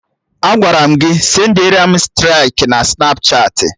Agwara m gị sendiaram striki Snapchatị!